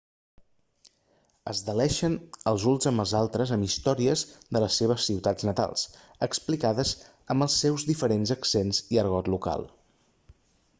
es deleixen els uns amb els altres amb històries de les seves ciutats natals explicades amb els seus diferents accents i argot local